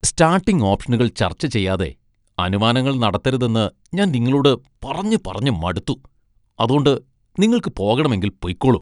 Starting ഓപ്ഷനുകൾ ചർച്ച ചെയ്യാതെ അനുമാനങ്ങൾ നടത്തരുതെന്ന് ഞാൻ നിങ്ങളോട് പറഞ്ഞു പറഞ്ഞു മടുത്തു, അതോണ്ട് നിങ്ങൾക്ക് പോകണമെങ്കിൽ പൊയ്ക്കോളൂ .